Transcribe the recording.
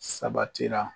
Sabatira